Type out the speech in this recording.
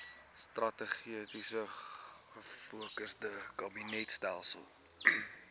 strategies gefokusde kabinetstelsel